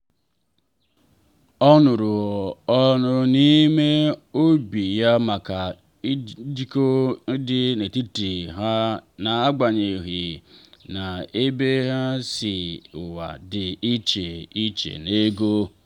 ọ nụrụ ọnụ n’ime obi ya maka njikọ dị n’etiti ha n’agbanyeghị na ha si n’ụwa dị iche iche n’ego